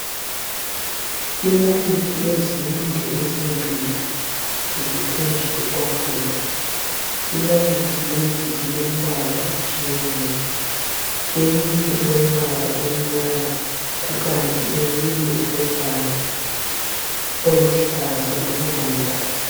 Inalithi ezinde ezimbili ziphezu kwetafula, inalithi lezi zilembala etshiyeneyo, inalithi lezi zilembala etshiyeneyo eyinye ilombala omnyama kukanti eyinye ilombala oluhlaza olula.